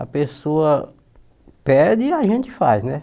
A pessoa pede e a gente faz, né?